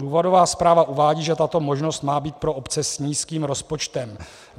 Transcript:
Důvodová zpráva uvádí, že tato možnost má být pro obce s nízkým rozpočtem.